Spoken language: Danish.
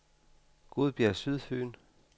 Gudbjerg Sydfyn